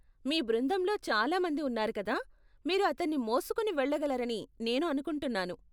మీ బృందంలో చాలా మంది ఉన్నారు కదా, మీరు అతన్ని మోసుకుని వెళ్లగలరని నేను అనుకుంటున్నాను.